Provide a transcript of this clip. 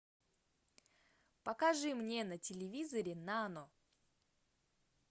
покажи мне на телевизоре нано